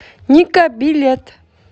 ника билет